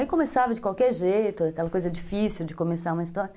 Aí começava de qualquer jeito, aquela coisa difícil de começar uma história.